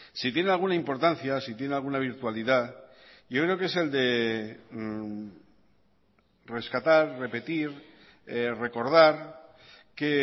si tiene alguna importancia si tiene alguna virtualidad yo creo que es el de rescatar repetir recordar que